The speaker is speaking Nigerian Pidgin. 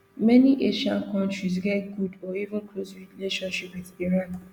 many asian kontris get good or even close relationship wit iran